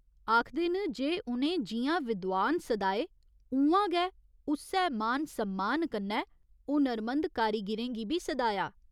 आखदे न जे उ'नें जि'यां विद्वान सदाए उ'आं गै उस्सै मान सम्मान कन्नै हुनरमंद कारीगिरें गी बी सदाया।